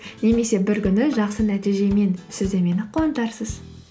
немесе бір күні жақсы нәтижемен сіз де мені қуантарсыз